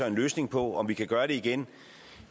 en løsning på om vi kan gøre det igen